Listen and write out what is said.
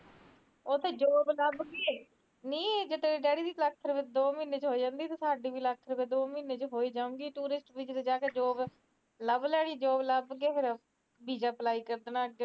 ਉਥੇ ਜੋਬ ਲੱਗ ਕੇ ਨਹੀ ਤੇਰੇ ਡੈਡੀ ਦੀ ਦੋ ਮਹੀਨੇ ਦੀ ਦੋ ਲੱਖ ਰੁਪੀਏ ਹੋ ਜਾਂਦੀ ਸਾਡੀ ਵੀ ਲੱਖ ਰੁਪੀਆਂ ਦੋ ਮਹੀਨੇ ਤੇ ਹੋਈ ਜੋਉਗੀ ਟੂਰਿਸਟ ਵੀਜੇ ਤੇ ਜਾਕੇ ਜੋਬ ਲੱਭ ਲੈਣੀ ਜੋਬ ਲੱਭ ਕੇ ਵੀਜਾ ਅੱਗੇ